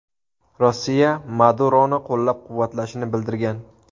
Rossiya Maduroni qo‘llab-quvvatlashini bildirgan.